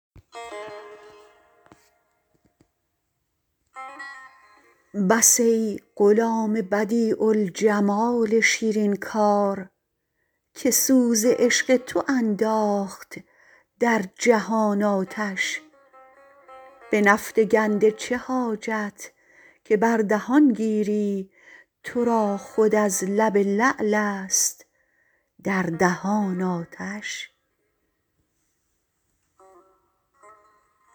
بس ای غلام بدیع الجمال شیرین کار که سوز عشق تو انداخت در جهان آتش به نفط گنده چه حاجت که بر دهان گیری تو را خود از لب لعلست در دهان آتش